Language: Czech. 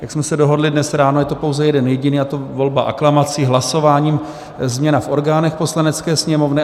Jak jsme se dohodli dnes ráno, je to pouze jeden jediný, a to volba aklamací, hlasováním, změna v orgánech Poslanecké sněmovny.